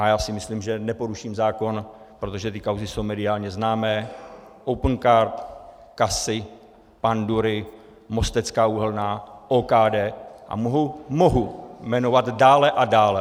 A já si myslím, že neporuším zákon, protože ty kauzy jsou mediálně známé - Opencard, CASA, pandury, Mostecká uhelná, OKD a mohu jmenovat dále a dále.